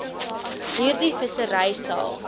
hierdie vissery sal